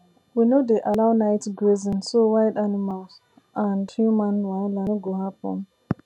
we no dey allow night grazing so wild animal and human wahala no go happen